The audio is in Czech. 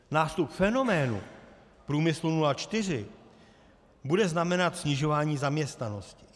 Nástup fenoménu průmyslu 04 bude znamenat snižování zaměstnanosti.